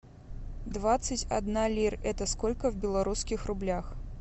двадцать одна лира это сколько в белорусских рублях